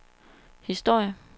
historie